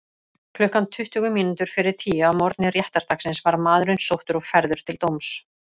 Klukkan tuttugu mínútur fyrir tíu að morgni réttardagsins var maðurinn sóttur og færður til dóms.